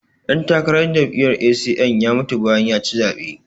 ɗantakarar jami'yar A.c.m ya mutu bayan ya ci zaɓe